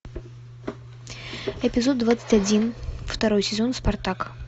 эпизод двадцать один второй сезон спартак